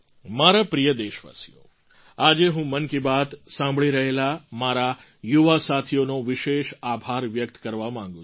મારા પ્રિય દેશવાસીઓ આજે હું મન કી બાત સાંભળી રહેલા મારા યુવા સાથીઓનો વિશેષ આભાર વ્યક્ત કરવા માગું છું